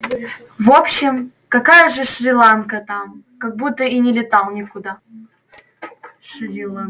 в общем какая уже шри-ланка там как будто и не летал никуда